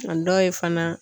A dɔw ye fana.